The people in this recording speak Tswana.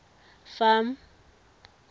farm